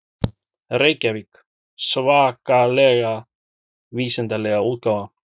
Reykjavík: Svakalega vísindalega útgáfan.